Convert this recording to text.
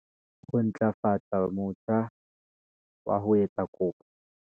Ho ntlafatsa motjha wa ho etsa kopo